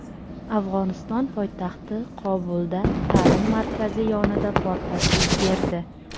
Afg‘oniston poytaxti Qobulda ta’lim markazi yonida portlash yuz berdi.